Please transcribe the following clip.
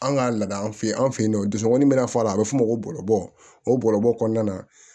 An ka laada fɛ an fe yen nɔ dusukun min bɛna fɔ a la a bɛ f'o ma ko bɔlɔbɔ o bɔlɔbɔ kɔnɔna na